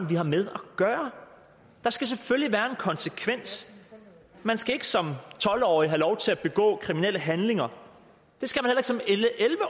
vi har med at gøre der skal selvfølgelig være konsekvens man skal ikke som tolv årig have lov til at begå kriminelle handlinger